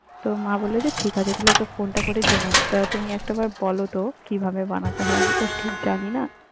তো মা বললো যে ঠিক আছে তাহলে ওকে ফোনটা করে জেনে নে, তো তুমি একটাবার বলো তো কিভাবে বানাতে হয়, আমি তো ঠিক জানি না।